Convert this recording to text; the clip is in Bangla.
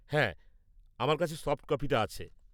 -হ্যাঁ আমার কাছে সফট কপিটা আছে।